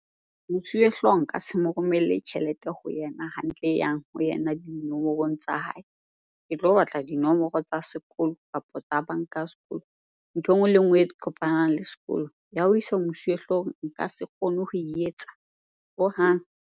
Mosuwehlooho nka se mo romelle tjhelete ho yena hantle e yang ho yena dinomorong tsa hae. Ke tlo batla dinomoro tsa sekolo kapa tsa banka ya sekolo, ntho e nngwe le e nngwe e kopanang le sekolo. Ya ho isa ho mosuwehlooho nka se kgone ho e etsa, hohang.